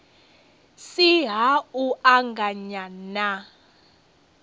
si ha u anganya na